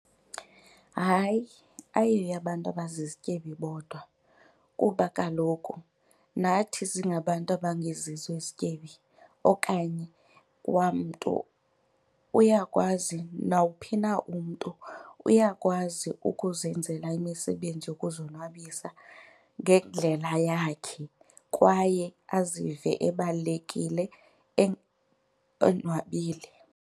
Hayi, ayiyo eyabantu abazizityebi bodwa kuba kaloku nathi singabantu abangezizo izityebi okanye kwamntu uyakwazi, nawuphi na umntu uyakwazi ukuzenzela imisebenzi yokuzonwabisa ngendlela yakhe kwaye azive ebalulekile onwabile.